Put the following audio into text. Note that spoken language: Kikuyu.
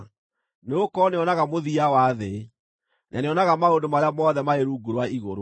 nĩgũkorwo nĩonaga mũthia wa thĩ, na nĩonaga maũndũ marĩa mothe marĩ rungu rwa igũrũ.